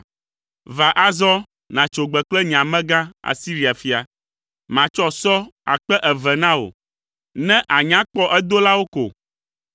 “ ‘Va azɔ nàtso gbe kple nye amegã, Asiria fia. Matsɔ sɔ akpe eve na wò, ne ànya kpɔ edolawo ko.